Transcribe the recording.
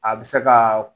A bɛ se ka